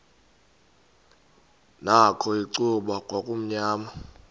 nakho icuba kwakumnyama